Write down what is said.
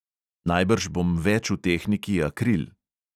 "Najbrž bom več v tehniki akril."